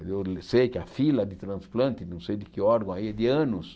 Eu sei que a fila de transplante, não sei de que órgão aí, é de anos.